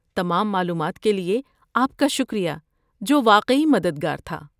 تمام معلومات کے لئے آپ کا شکریہ، جو واقعی مددگار تھا۔